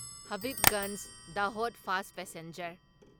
Habibganj Dahod fast passenger